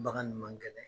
Bagan man gɛlɛ